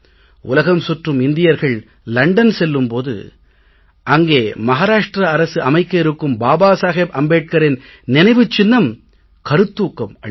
உலகம் சுற்றும் இந்தியர்கள் லண்டன் செல்லும் போது அங்கே மஹாராஷ்ட்ர அரசு அமைக்க இருக்கும் பாபா சாஹேப் அம்பேட்கரின் நினைவுச் சின்னம் கருத்தூக்கம் அளிக்கும்